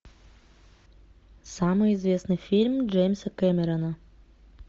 самый известный фильм джеймса кэмерона